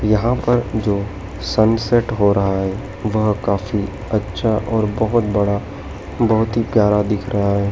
यहां पर जो सनसेट हो रहा है वह काफी अच्छा और बहोत बड़ा बहोत ही प्यारा दिख रहा--